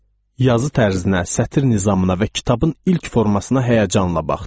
Yazı tərzinə, sətr nizamına və kitabın ilk formasına həyəcanla baxdım.